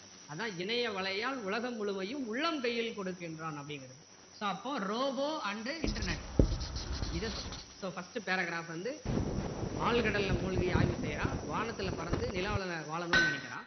அதான் இணைய வலையால் உலகம் முழுமையும் உள்ளம் கையில் கொடுக்கின்றான் அப்படிங்கிறாரு so அப்போ robo and internet இதை சொல்லுது so first paragraph வந்து ஆழ்கடல்ல மூழுகி ஆய்வவு செய்றான் வானத்துல பறந்து நிலாவுல வாழனும்னு நினைக்கிறான்